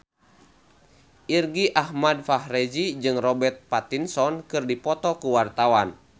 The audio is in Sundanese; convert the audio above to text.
Irgi Ahmad Fahrezi jeung Robert Pattinson keur dipoto ku wartawan